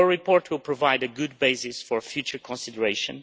Your report will provide a good basis for future consideration.